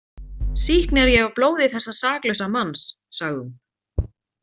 Sýkn er ég af blóði þessa saklausa manns, sagði hún.